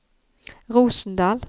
Rosendal